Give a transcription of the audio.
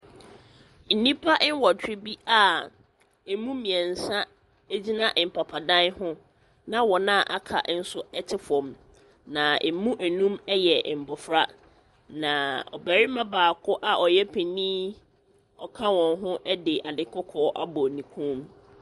Nnipa nwɔtwe bi a ɛmu mmiɛnsa gyina mpapadan ho na wɔn a aka nso te fam. Na ɛmu nnum yɛ mmɔfra. Na ɔbarima baako a ɔyɛ panin na ɔka wɔn ho de ade kɔkɔɔ abɔ ne kɔn mu.